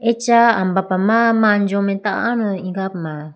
acha ambapa ma manjo mai tando ijapuma.